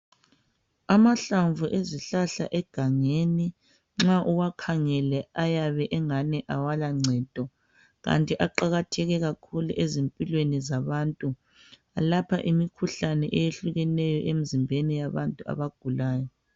Amahlamvu ezihlahla egangeni nxa uwakhangele ayabe engani akala ncedo kanti aqakatheke kakhulu ezimpilweni zabantu. Alapha imikhuhlane eyehlukeneyo emzimbeni yabantu abagulayo.